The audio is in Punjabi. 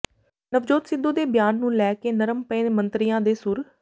ਨਵਜੋਤ ਸਿੱਧੂ ਦੇ ਬਿਆਨ ਨੂੰ ਲੈ ਕੇ ਨਰਮ ਪਏ ਮੰਤਰੀਆਂ ਦੇ ਸੁਰ